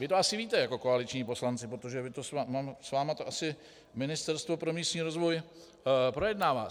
Vy to asi víte jako koaliční poslanci, protože s vámi to asi Ministerstvo pro místní rozvoj projednává.